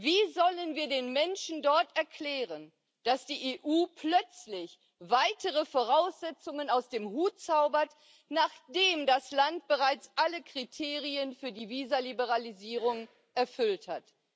Wie sollen wir den Menschen dort erklären, dass die EU plötzlich weitere Voraussetzungen aus dem Hut zaubert, nachdem das Land bereits alle Kriterien für die Visaliberalisierung erfüllt hat?